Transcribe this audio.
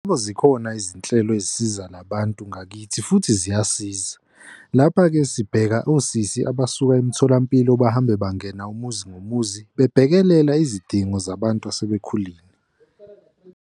Yebo, zikhona izinhlelo ezisiza nabantu ngakithi futhi ziyasiza. Lapha-ke sibheka osisi abasuka emitholampilo bahambe bangena umuzi ngomuzi, babhekelela izidingo zabantu asebekhulile.